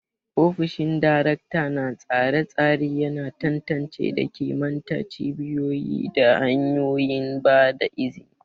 Ofishin Darakta na tsare-tsare yana tantance da kimanta cibiyoyi da hanyoyin ba da izini.